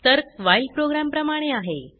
तर्क while program प्रमाणे आहे